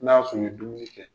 N'a ya sɔrɔ u ye dumuni kɛ